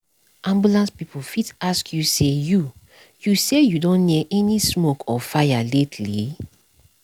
ambulance people fit ask you say you you say you don near any smoke or fire lately?